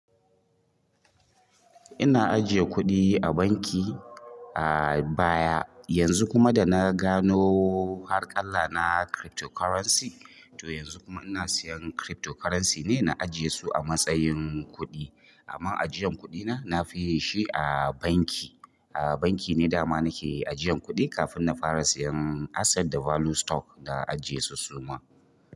Ina ajiye kuɗi a banki a baya, yanzu kuma da na gano harƙalla na cryptocurrency, to yanzu kuma ina siyan cryptocurrency ne na ajiye su a matsayin kuɗi. Amma ajiyan kuɗi na, na fi yi shi a banki. A banki ne dama nake ajiyan kuɗi kafin na fara siyan asset da value stock na ajiye su suma.